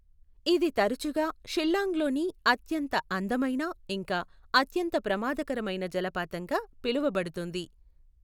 ఇది తరచుగా షిల్లాంగ్లోని అత్యంత అందమైన ఇంకా అత్యంత ప్రమాదకరమైన జలపాతంగా పిలువబడుతుంది.